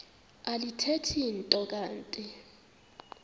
alithethi nto kanti